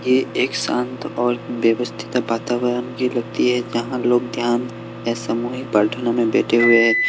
ये एक शांत और व्यवस्थित वातावरण की लगती है जहां लोग ध्यान समूह में प्रार्थना में बैठे हुए हैं।